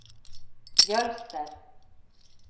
Jølster